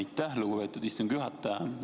Aitäh, lugupeetud istungi juhataja!